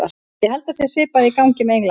Ég held að það sé svipað í gangi með England.